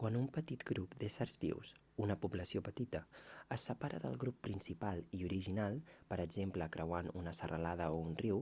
quan un petit grup d'éssers vius una població petita es separa del grup principal i original per exemple creuant una serralada o un riu